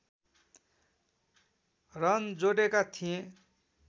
run जोडेका थिए